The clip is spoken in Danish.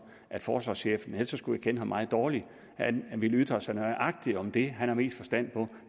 at forsvarschefen ellers skulle jeg kende ham meget dårligt vil ytre sig nøjagtig om det han har mest forstand på